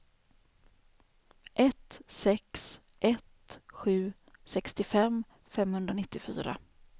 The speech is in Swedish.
ett sex ett sju sextiofem femhundranittiofyra